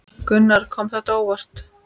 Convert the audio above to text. Gunnar: Kom þetta á óvart?